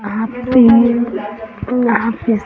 वहाँ पे यहाँ --